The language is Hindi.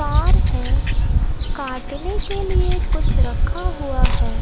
कार है काटने के लिए कुछ रखा हुआ है ।